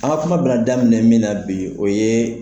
An kan kuma bɛna daminɛ min na bi o ye